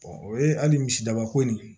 o ye hali misi dabako ye